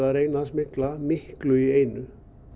að reyna að smygla miklu í einu